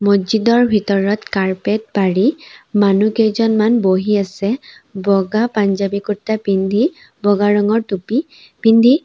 মহজিদৰ ভিতৰত কাৰ্পেট পাৰি মানুহজনমান বহি আছে বগা পাঞ্জাৱী কুৰ্তা পিন্ধি বগা ৰঙৰ টুপি পিন্ধি।